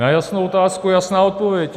Na jasnou otázku jasná odpověď.